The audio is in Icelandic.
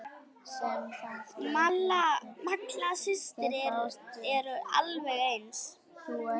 Malla systir eru alveg eins.